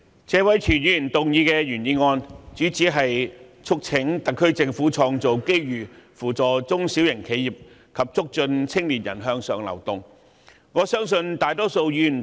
主席，我首先多謝謝偉銓議員動議"創造機遇扶助中小型企業及促進青年人向上流動"的議案。